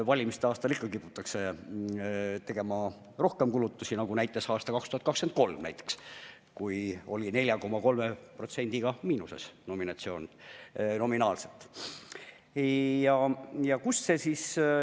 Valimiste aastal ikka kiputakse tegema rohkem kulutusi, nagu ka näiteks aastal 2023, kui eelarve oli 4,3%-ga miinuses nominaalselt.